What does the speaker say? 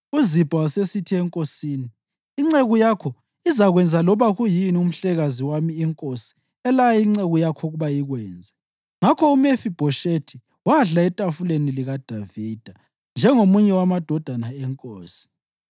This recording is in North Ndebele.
UZibha wasesithi enkosini, “Inceku yakho izakwenza loba kuyini umhlekazi wami inkosi elaya inceku yayo ukuba ikwenze.” Ngakho uMefibhoshethi wadla etafuleni likaDavida njengomunye wamadodana enkosi.